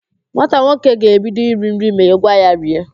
Nwata nwoke ahụ ga-ebido iri nri ma i gwa ya rie